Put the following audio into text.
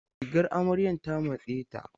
Rigar amaryan ta matse ta.